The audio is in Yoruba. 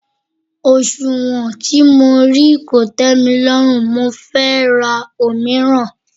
Òsùnwọ̀n tí mo rí kò tẹ́milọ́rùn mo fẹ́ ra òmíràn.